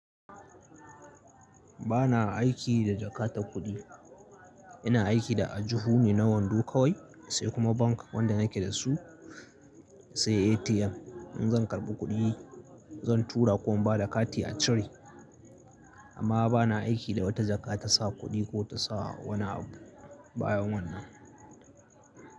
Ba na aiki da jakadar kuɗi. Ina aiki da ajiho ne na wando kawai, sai kuma bank wanda nake da su sai ATM. In zan karɓi kuɗi, zan tura ko in ba da kati a cire. Amma ba na aiki da wata jaka ta sa kuɗi ko ta sa wani abu bayan wannan.